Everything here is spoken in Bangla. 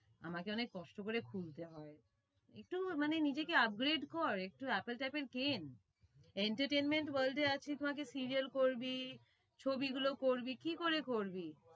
আমাকে অনেক কষ্ট করে খুলতে হয়। একটু মানে নিজেকে Upgrade কর একটু apple ট্যাপেল কেন entertainment world এ করবি, ছবি গুলো করবি কি করে করবি?